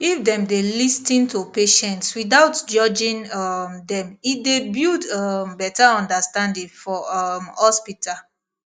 if dem dey lis ten to patients without judging um them e dey build um better understanding for um hospital